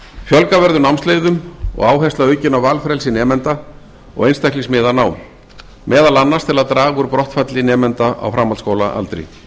fjölga verður námsleiðum og áhersla aukin á valfrelsi nemenda og einstaklingsmiðað nám meðal annars til að draga úr brottfalli nemanda á framhaldsskólaaldri